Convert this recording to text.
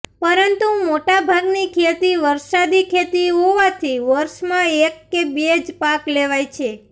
પરંતુ મોટા ભાગની ખેતી વરસાદી ખેતી હોવાથી વર્ષમાં એક કે બે જ પાક લેવાય છે